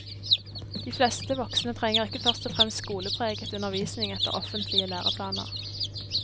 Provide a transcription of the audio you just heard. De fleste voksne trenger ikke først og fremst skolepreget undervisning etter offentlige læreplaner.